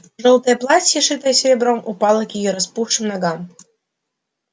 жёлтое платье шитое серебром упало к её распухшим ногам